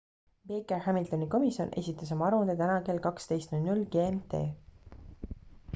baker-hamiltoni komisjon esitas oma aruande täna kell 12.00 gmt